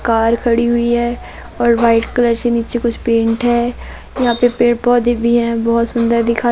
car खड़ी हुई है और वाइट कलर से नीचे कुछ पेंट है यहां पे पेड़ पौधे भी हैं बहुत सुंदर दिखाई--